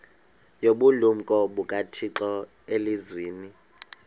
nobulumko bukathixo elizwini